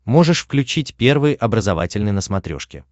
можешь включить первый образовательный на смотрешке